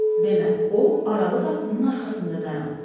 Demə, o aralı qapının arxasında dayanıbmış.